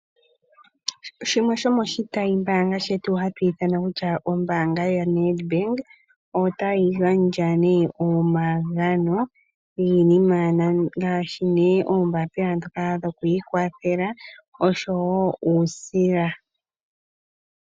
Shimwe shomoshitayi mbaanga shetu hashi ithanwa ombaanga yaNedbank, otayi gandja omagano giinima ngaashi oombaapila dhoku ikwathela noshowo uusila.